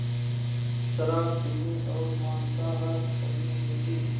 शराब पीने और मांसाहार करने जैसे